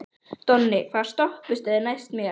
Donni, hvaða stoppistöð er næst mér?